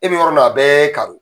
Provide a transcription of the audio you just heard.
I bɛ yɔrɔ min na, a bɛɛ ye karo.